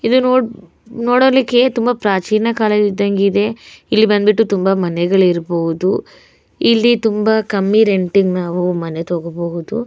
ಇದು ನೋಡ್ ನೋಡಲಿಕ್ಕೆ ತುಂಬ ಪ್ರಾಚೀನ ಕಾಲದ್ ಇದ್ದಂಗ್ ಇದೆ ಇಲ್ಲಿ ಬಂದ್ಬಿಟ್ಟು ತುಂಬ ಮನೆಗಳು ಇರ್ಬೋದು ಇಲ್ಲಿ ತುಂಬ ಕಮ್ಮಿ ರೆಂಟ್ ಗೆ ನಾವು ಮನೆ ತಗೊಬೊಹುದು.